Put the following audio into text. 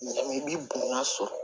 I bi bonya so